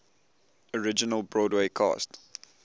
original broadway cast